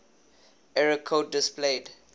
error code displayed